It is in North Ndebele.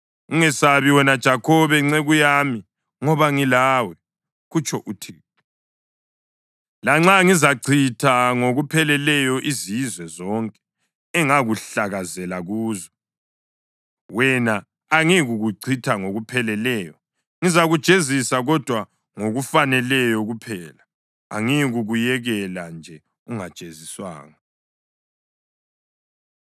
Ungesabi wena Jakhobe nceku yami ngoba ngilawe,” kutsho uThixo. “Lanxa ngizachitha ngokupheleleyo izizwe zonke engakuhlakazela kuzo, wena angiyikukuchitha ngokupheleleyo. Ngizakujezisa kodwa ngokufaneleyo kuphela; angiyikukuyekela nje ungajeziswanga.”